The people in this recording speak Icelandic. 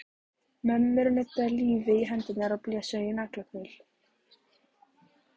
Mömmur nudduðu lífi í hendur og blésu í naglakul.